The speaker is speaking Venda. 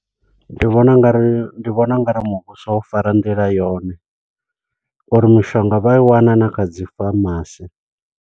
Ndi vhona ungari, ndi vhona ungari muvhuso wo fara nḓila yone, uri mishonga vha i wana na kha dzifamasi.